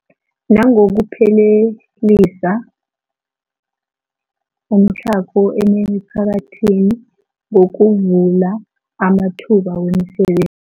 Nangokuphelisa umtlhago emiphakathini ngokuvula amathuba wemisebe